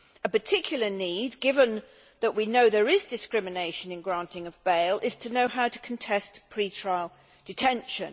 A particular need, given that we know that there is discrimination in granting of bail, is to know how to contest pre trial detention.